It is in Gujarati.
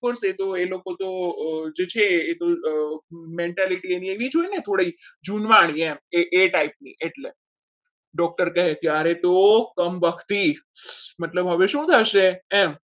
પણ એ લોકો તો જે છે એ mentality એની એવી જ હોય ને થોડી જુનવાણી એ type ની એમ એટલે doctor કહે ત્યારે તો કમબખતી મતલબ હવે શું થશે એમ.